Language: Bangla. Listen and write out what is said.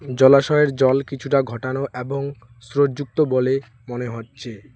জলাশয়ের জল কিছুটা ঘটানো এবং স্রোত যুক্ত বলে মনে হচ্ছে।